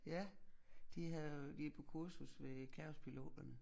Ja de havde de på kursus ved kaospiloterne